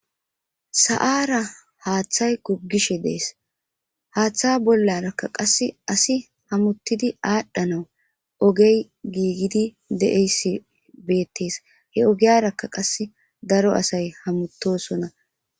Sa'ara haththay gogishshe dess haththa bollaraka qase asi hamutidi adhdhanawu oggey gigidi deishe bettes he oggiyara qase daaro asay hametosona